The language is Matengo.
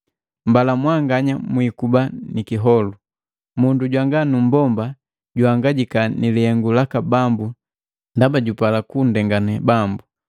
Mbala mwanganya mwikuba ni kiholu. Mundu jwanga numbomba juhangajika ni lihengu laka Bambu ndaba jupala kundenganee Bambu.